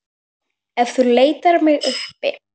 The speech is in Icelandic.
Ef þú leitar mig uppi.